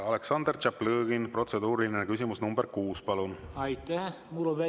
Aleksandr Tšaplõgin, protseduuriline küsimus nr 6, palun!